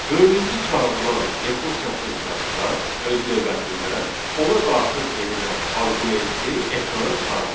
Dördüncü çağırılan rekursiya funksiyası da öz növbəsində ona daxil edilən arqumenti ekrana çıxardır.